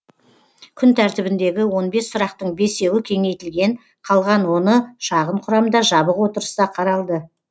күн тәртібіндегі он бес сұрақтың бесеуі кеңейтілген қалған оны шағын құрамда жабық отырыста қаралды